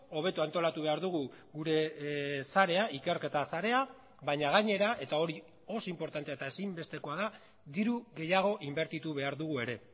hobeto antolatu behar dugu gure sarea ikerketa sarea baina gainera eta hori oso inportantea eta ezinbestekoa da diru gehiago inbertitu behar dugu ere